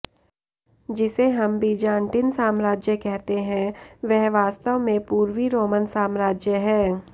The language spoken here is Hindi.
जिसे हम बीजान्टिन साम्राज्य कहते हैं वह वास्तव में पूर्वी रोमन साम्राज्य है